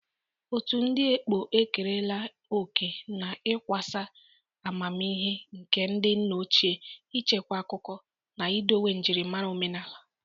Otu ndị ekpo ekerela oke oke n'ịkwasa amamihe nke ndị nna ochie, ichekwa akụkọ, na idowe njirimara omenala.